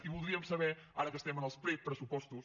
i voldríem saber ara que estem en els prepressupostos